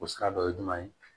O sira dɔ ye jumɛn ye